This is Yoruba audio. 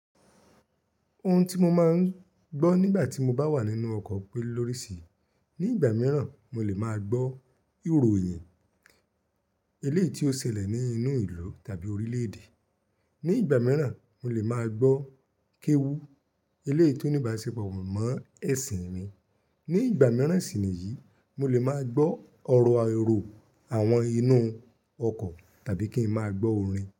Ohun tí mo máa ń gbọ́ nígbà tí mo bá wà nínú ọkọ̀ pé lórísi, ní ìgbà mìíràn mo lè máa gbọ́ ìròyìn eléyìí tí ó ṣẹlẹ̀ nínú ìlú tàbí orílédé, ní ìgbà mìíràn mo lè máa gbọ́ kéwú eléyìí tí ó ní ìbáṣepọ̀ mọ́ ẹ̀sìn mi, ní ìgbà mìíràn sì ni yìí mo lè máa gbọ́ ọ̀rọ̀ àirọ̀ àwọn inú ọkọ̀ tàbí kí n máa gbọ́ orin.